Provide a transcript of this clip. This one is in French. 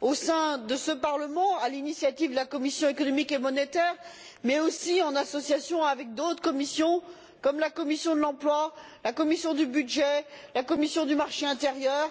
au sein de ce Parlement à l'initiative de la commission des affaires économiques et monétaires, mais également en association avec d'autres commissions, comme la commission de l'emploi, la commission des budgets, la commission du marché intérieur